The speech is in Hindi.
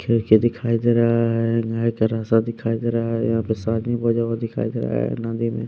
क्योंकि दिखाई दे रहा है गाय का रासा दिखाई दे रहा है यहाँ पे सादी बजा हुआ दिखाई दे रहा है ।